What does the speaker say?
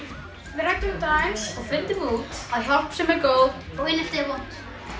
við ræddum þetta aðeins og fundum út að hjálpsemi er góð og einelti er vont